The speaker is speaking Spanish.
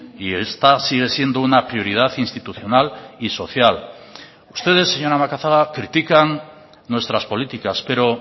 y esta sigue siendo una prioridad institucional y social ustedes señora macazaga critican nuestras políticas pero